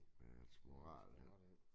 Det er sgu rart